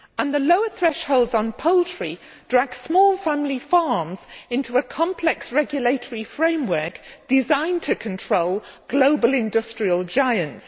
The lower thresholds on poultry drag small family farms into a complex regulatory framework designed to control global industrial giants.